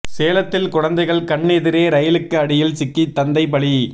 சேலத்தில் குழந்தைகள் கண் எதிரே ரயிலுக்கு அடியில் சிக்கி தந்தை பலி